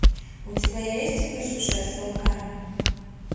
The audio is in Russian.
у тебя есть выжившая с волками